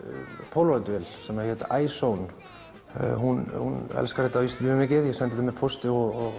polaroid vél hún elskar þetta mikið ég sendi þetta í pósti og